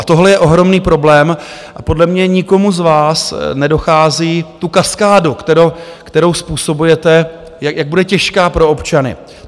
A tohle je ohromný problém a podle mě nikomu z vás nedochází tu kaskádu, kterou způsobujete, jak bude těžká pro občany.